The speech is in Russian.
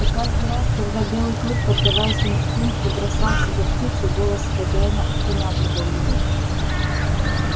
и каждый раз когда белый клык поддаваясь инстинкту бросался за птицей голос хозяина останавливал его